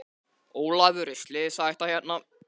Ólafur er slysahætta hérna?